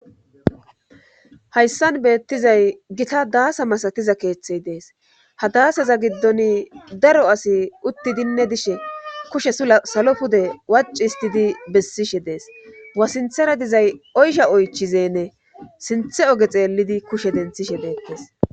hayssan beettizay gita daasa masatiza keeththey dees ha daasaza giddon daro asi uttidinne dishe kushe sula salo pude wacistidi bessishe dees wasinthera dizay oysha oychizenne sinthe oge xeellidi kushe denthishe deettes.